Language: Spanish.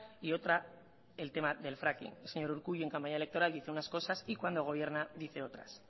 y otra el tema del fracking el señor urkullu en campaña electoral dice unas cosas y cuando gobierna dice otras